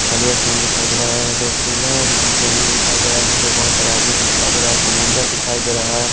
खली स्थान दिखाई देरा है रेतीला जमीन दिखाई देरा है जिसमे बहोत सारे आदमी सा दिखाई देरा है समुन्द्र सा दिखाई देरा है।